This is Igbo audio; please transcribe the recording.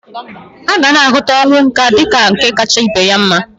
Agana ahụta ọnwụ nka dịka nke kacha ibe ya mma.